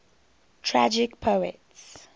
tragic poets